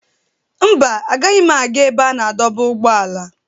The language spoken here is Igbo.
Mba, agaghị m aga ebe a na-adọba ụgbọala.